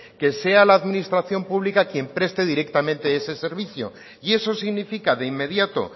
que sea la administración pública quien preste directamente ese servicio y eso significa de inmediato